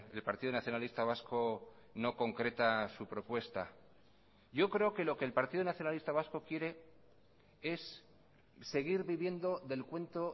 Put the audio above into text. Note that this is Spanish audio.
el partido nacionalista vasco no concreta su propuesta yo creo que lo que el partido nacionalista vasco quiere es seguir viviendo del cuento